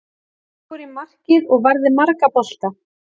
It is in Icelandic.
Ég fór í markið og varði marga bolta.